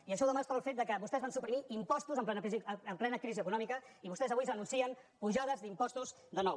i això ho demostra el fet que vostès van supri·mir impostos en plena crisi econòmica i vostès avui ja anuncien apujades d’impostos de nou